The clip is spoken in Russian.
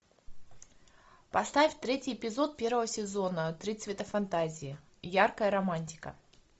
поставь третий эпизод первого сезона три цвета фантазии яркая романтика